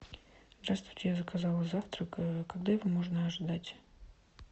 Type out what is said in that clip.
здравствуйте я заказала завтрак когда его можно ожидать